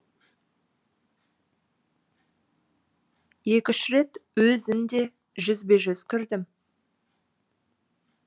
екі үш рет өзін де жүзбе жүз көрдім